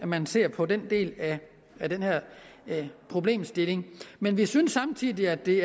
man ser på den del af den problemstilling men vi synes samtidig at det